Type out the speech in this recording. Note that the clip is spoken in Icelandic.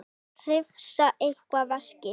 Hrifsa eitt veskið.